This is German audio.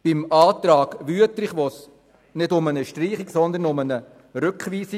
Im Antrag Wüthrich geht es nicht um eine Streichung, sondern um eine Rückweisung.